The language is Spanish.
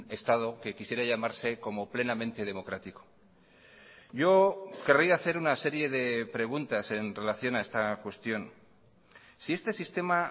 estado que quisiera llamarse como plenamente democrático yo querría hacer una serie de preguntas en relación a esta cuestión si este sistema